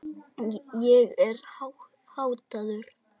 Ég er háttaður.